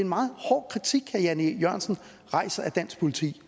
meget hård kritik herre jan e jørgensen rejser af dansk politi